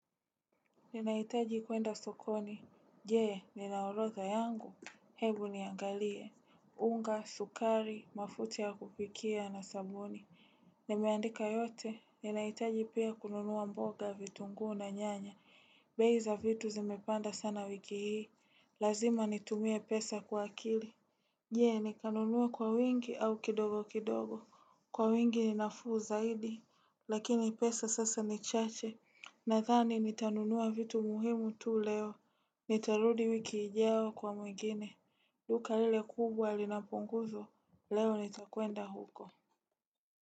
Ninaitaji kuenda sokoni, je ninaorotha yangu, hebu niangalie, unga, sukari, mafuta ya kupikia na sabuni Nimeandika yote, ninaitaji pia kununua mboga vitunguu na nyanya, bei za vitu zimepanda sana wiki hii, lazima nitumie pesa kwa akili Je, ni kanunuwa kwa wingi au kidogo kidogo. Kwa wingi ni nafuu zaidi, lakini pesa sasa ni chache. Na dhani ni tanunua vitu muhimu tu leo. Nitarudi wiki ijao kwa mwengine. Duka lile kubwa linapunguzo, leo ni takwenda huko.